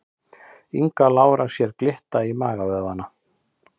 Inga Lára sér glitta í magavöðvana